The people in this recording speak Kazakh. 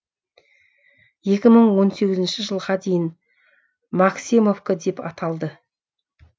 екі мың он сегізінші жылға дейін максимовка деп аталды